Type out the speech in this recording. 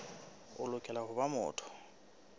o lokela ho ba motho